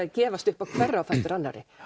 að gefast upp á hverri á fætur annarri